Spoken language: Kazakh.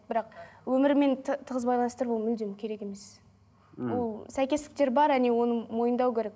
бірақ өмірімен тығыз байланыстырып ол мүлдем керек емес мхм ол сәйкестіктер бар оны мойындау керек